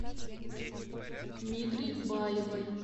мигре баевой